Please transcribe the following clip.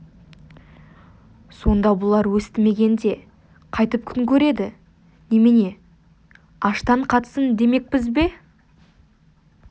сонда бұлар өстімегенде қайтіп күн көреді немене аштан қатсын демекпіз бе